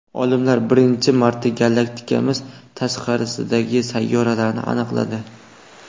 Olimlar birinchi marta galaktikamiz tashqarisidagi sayyoralarni aniqladi.